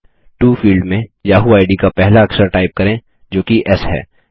to field में Yahoo ID का पहला अक्षर टाइप करें जो कि एस है